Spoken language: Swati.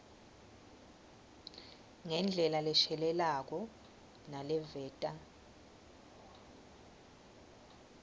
ngendlela leshelelako naleveta